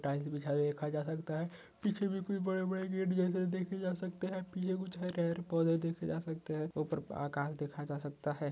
Tiles बिछा हुआ देखा जा सकता है पिछे भी कुछ बड़े बड़े गेट जैसे देखे जा सकते है पिछे कुछ पेड़ पौधे देखे जा सकते है उपर पर आकाश देखा जा सकता है।